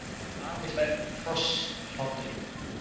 Afi hlær hrossahlátri.